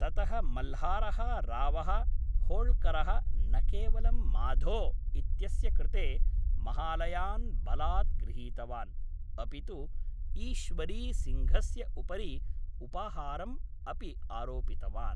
ततः मल्हारः रावः होळ्करः न केवलं माधो इत्यस्य कृते महालयान् बलात् गृहीतवान्, अपितु ईश्वरी सिङ्घस्य उपरि उपहारम् अपि आरोपितवान्।